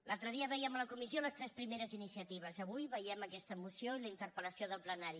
l’altre dia vèiem a la comissió les tres primeres iniciatives avui veiem aquesta moció i la interpel·lació del plenari